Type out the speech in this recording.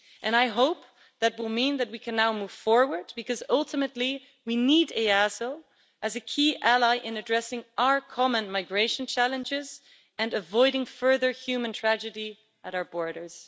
I hope that will mean that we can now move forward because, ultimately, we need EASO as a key ally in addressing our common migration challenges and avoiding further human tragedy at our borders.